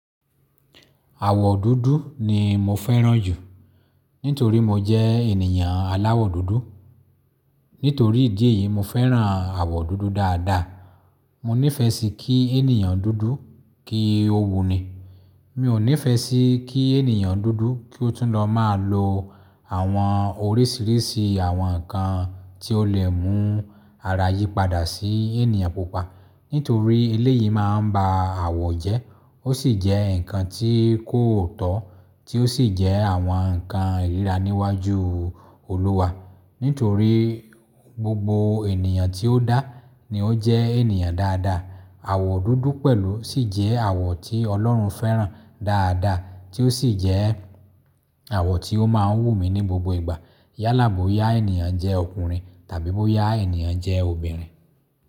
Àwọ̀ dúdú ni mo fẹ́ràn jù nítorí mo jẹ́ ènìyàn aláwọ̀ dúdú. Nítorí ìdí èyí, mo fẹ́ràn àwọ̀ dúdú dáadáa. Mo nífẹ̀ẹ́ sí kí ènìyàn dúdú kí ó wuni. Mi ò nífẹ̀ẹ́ sí kí ènìyàn dúdú kí ó túnlọ̀ máa lo àwọn oríṣìíríṣìí àwọn nǹkan tí ó lè mú ara yìí padà sí ènìyàn pupa. Nítorí eléyìí máa ń ba àwọ̀ jẹ́. Ó sì jẹ́ ǹkan tí kò tọ́, tí ó sì jẹ́ àwọn nǹkan ìríra níwájú Olúwa. Nítorí gbogbo ènìyàn tí ó dá ni ó jẹ́ ènìyàn dáadáa. Àwọ̀ dúdú pẹ̀lú sì jẹ́ àwọ̀ tí Ọlọ́run fẹ́ràn dáadáa tí ó sì jẹ́ àwọ̀ tí ó máa ń wù mí ní gbogbo ìgbà. Yálà bóyá ènìyàn jẹ́ ọkùnrin tàbí bóyá ènìyàn jẹ́ obìnrin.